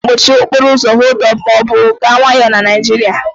A na-akpọ mkpọchị okporo ụzo "họld up" ma ọ bụ "gaa nwayọọ" na Naịjirịa.